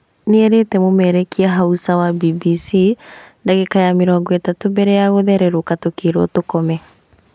Nĩerĩte mũmemerekia Hausa wa BBC"Ndagĩka ya mĩrongo ĩtatũ mbere ya gũthererũka tũkĩrwo tũkome"